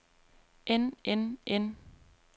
end end end